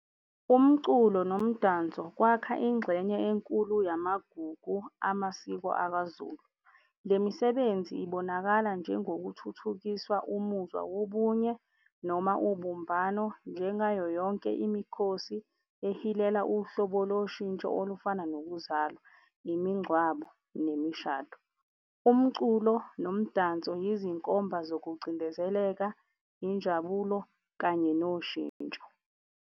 Umculo nomdanso kwakha ingxenye enkulu yamagugu amasiko akwaZulu. Le misebenzi ibonakala njengokuthuthukisa umuzwa wobunye noma ubumbano njengayo yonke imikhosi ehilela uhlobo loshintsho olufana nokuzalwa, imingcwabo, nemishado. Umculo nomdanso yizinkomba zokucindezeleka, injabulo kanye noshintsho.